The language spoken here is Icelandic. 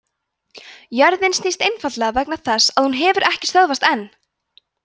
jörðin snýst einfaldlega vegna þess að hún hefur ekki stöðvast enn!